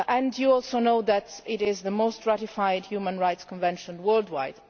You know too that it is the most ratified human rights convention worldwide.